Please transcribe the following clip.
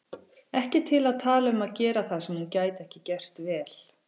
Ekki til að tala um að gera það sem hún gæti ekki gert vel.